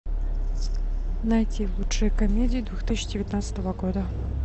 найти лучшие комедии две тысячи девятнадцатого года